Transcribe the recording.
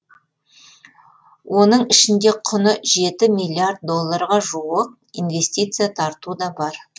оның ішінде құны жеті миллиард долларға жуық инвестиция тарту да бар